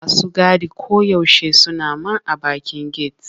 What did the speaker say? Masu gadi koyaushe suna man a bakin get.